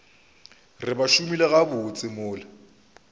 re ba šomile gabotse mola